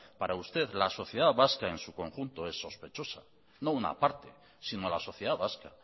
para usted la sociedad vasca en su conjunto es sospechosa no una parte sino la sociedad vasca